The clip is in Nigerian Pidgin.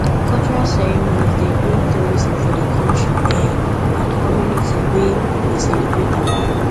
cultural ceremonies dey bring tourism for di country um and community wey dey celebrate am